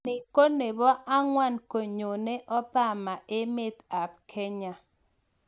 Ni ko nepo angwaan konyone Obama emeet ap Kenya.